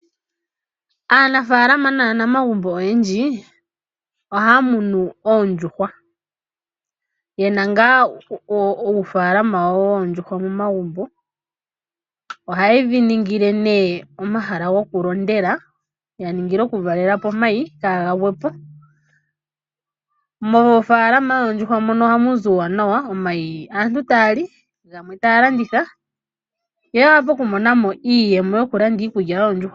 Aanafaalama naanamagumbo oyendji oha ya munu oondjuhwa yena ngaa uufaalama wawo woondjuhwa momagumbo . Oha ye dhi ningile nee omahala gokulondela yaningile okuvalela po omayi kaaga gwepo. Moofaalama yoondjuhwa mono ohamu zi omauwanawa omayi aantu taya li gamwe ta ya landitha yo yavule okumona mo iiyemo yokulanda iikulya yoondjuhwa.